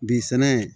Bi sɛnɛ